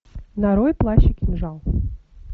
нарой плащ и кинжал